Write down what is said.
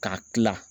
K'a kila